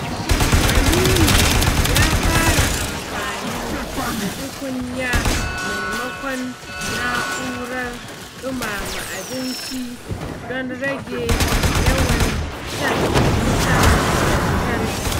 Aminu ya fara amfani da tukunya maimakon na'urar ɗumama abinci don rage yawan shan wutar lantarki.